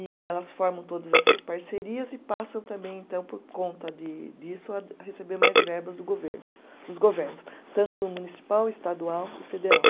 E elas formam todas essas parcerias e passam também, então, por conta de disso, a a receber mais verbas do governo, dos governos, tanto municipal, estadual e federal.